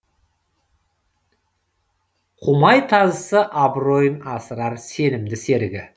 құмай тазысы абыройын асырар сенімді серігі